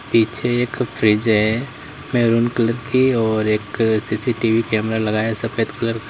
पीछे एक फ्रिज है मैरून कलर की और एक सी_सी_टी_वी कैमरा लगा है सफेद कलर का।